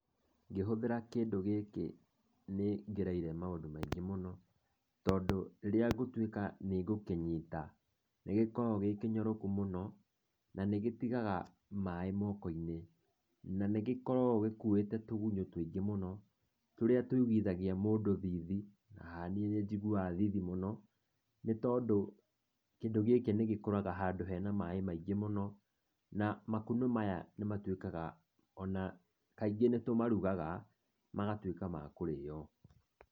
Ngĩhũthĩra kĩndũ gĩkĩ nĩ ngereire maũndũ maingĩ mũno tondũ rĩrĩa ngũtuĩka nĩngũkĩnyita, nĩgĩkoragwo gĩ kĩnyoroku mũno na nĩgĩtigaga maĩ moko-inĩ na nĩgĩkoragwo gĩkuĩte tũgunyũ tũingĩ mũno tũrĩa tũiguithagia mũndũ thithi na niĩ nĩnjiguaga thithi mũno nĩ tondũ kĩndũ gĩkĩ nĩ gĩkũraga handũ he na maĩ maingĩ mũno na makunũ maya nĩ matuĩkaga ona kaingĩ nĩ tũmarugaga magatuĩka ma kũrĩo.